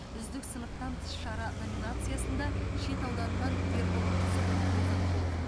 үздік сыныптан тыс шара номинациясында шет ауданынан ербол қызылов озат болды